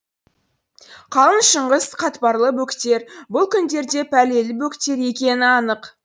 қалың шыңғыс қатпарлы бөктер бұл күндерде пәлелі бөктер екені анық